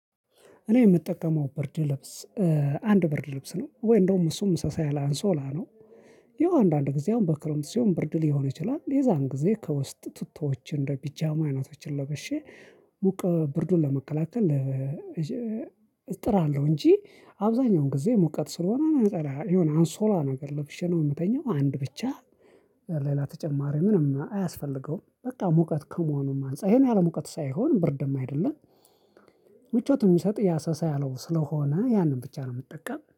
እኔ የምጠቀመው ብርድ ልብስ አንድ ብርድ ልብስ ነው ወይ እንደውም እሱም ሳሳ ያለ አንሶላ ነው። ይኸው አንዳንድ ጊዜ አሁን በክረምት ሲሆን ብርድ ሊሆን ይችላል የዚያን ጊዜ ከውስጥ ቱተዎችን እንደ ፒጃማ አይናቶችን ለበሼ ሙቀ ብርዱን ለመከላከል። እጥራለሁ እንጂ አብዛኛውን ጊዜ ሙቀት ስለሆነ ነው የሆነ አንሶላ ነገር ለብሽ ነው የምተኛው አንድ ብቻ። ሌላ ተጨማሪ ምንም አያስፈልገውም በቃ ሙቀት ከመሆኑም አንፃር ይሄን ያህል ሙቀት ሳይሆን ብር ደግሞ አይደለም። ምቾት የሚሰጥ ያ ሳሳ ያለው ስለሆነ ያንን ብቻ ነው የምጠቀም